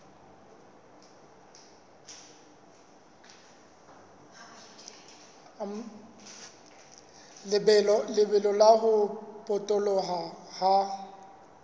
lebelo la ho potoloha ha